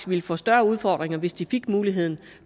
ville få større udfordringer hvis de fik mulighed